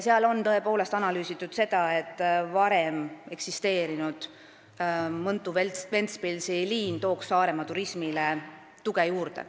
Seal on tõepoolest analüüsitud seda, et varem eksisteerinud Mõntu–Ventspilsi liin tooks Saaremaa turismile tuge juurde.